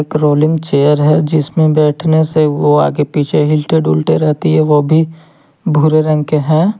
Rolling chair है जिसमें बैठने से वह आगे पीछे हिलते दुलते रहती है वह भी भूरे रंग के हैं।